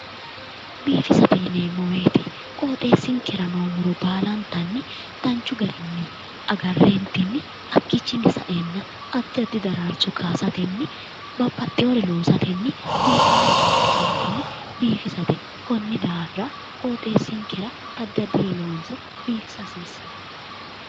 Biifisate yineemmo woyte qoxeesinke noo muro baallantanni danchu garinni agarentinni hakkichini saenna addi addi daraaricho kayaasateni babbaxeyore loossateni biifewoye loosateni biifisate konni daafira qoxeesinkera addi addire loonsa biifisa hasiisano.